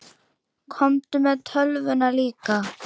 Komdu með tölvuna líka.